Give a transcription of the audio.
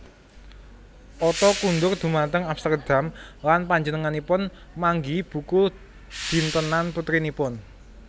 Otto kundur dhumateng Amsterdam lan panjenenganipun manggihi buku dintenan putrinipun